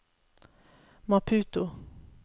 Maputo